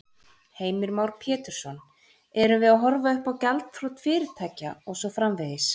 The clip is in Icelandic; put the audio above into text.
Heimir Már Pétursson: Erum við að horfa uppá gjaldþrot fyrirtækja og svo framvegis?